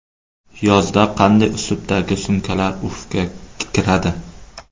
Yozda qanday uslubdagi sumkalar urfga kiradi?.